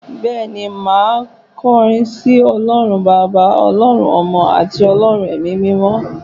Bẹ́ẹ̀ni, màá kọrin sí Ọlọ́run Baba, Ọlọ́run Ọmọ àti Ọlọ́run Ẹ̀mí-mímọ́